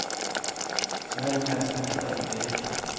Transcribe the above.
Nu är det nästan ett arbete.